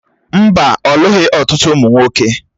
Mbá, olụghi ọtụtụ ụmụ nwoke